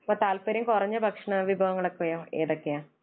അപ്പോൾ താല്പര്യം കുറഞ്ഞ ഭക്ഷണം, വിഭവങ്ങളൊക്കെ ഏതൊക്കെയാ?